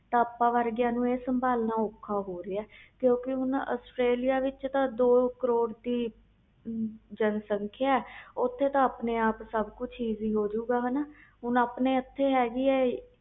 ਆਪਾ ਵਰਗਿਆਂ ਨੂੰ ਸਬਲਾਣਾ ਔਖਾ ਹੋ ਰਹੇ ਆ ਕਿਉਕਿ ਹੁਣ ਆਸਟ੍ਰੇਲੀਆ ਵਿਚ ਤਾ ਦੋ ਕਰੋੜ ਜਨਸੰਖਿਆ ਹੈ ਓਥੇ ਤੇ ਆਪਣੇ ਆਪ ਸਹੀ ਵੀ ਹੋ ਜੋ ਗਏ ਹੁਣ ਆਪਣੇ ਇਥੇ ਹੈ ਗਈ